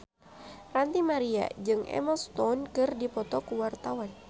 Ranty Maria jeung Emma Stone keur dipoto ku wartawan